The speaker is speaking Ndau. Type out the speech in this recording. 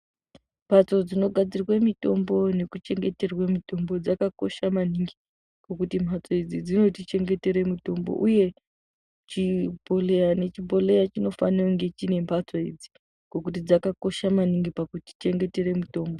Mbatso dzinogadzirwe mitombo nekuchengetera mitombo dzakakosha maningi ngekuti mhatso idzi dzinotichengetere mitombo uye chibhedhlera nechibhedhlera chinofana kunhe chiine mbatso idzi nekuti dzakakosha maningi pakutichengetera mitombo .